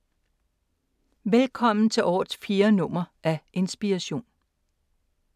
Velkommen til årets fjerde nummer af Inspiration.